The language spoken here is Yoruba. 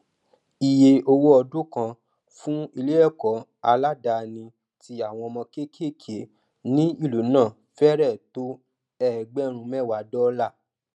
ìye owó ọdún kan fún ileẹkọ aládàní tí àwọn ọmọ kékèéké ní ìlú náà fẹrẹ tó ẹgbẹrún mẹwàá dọlà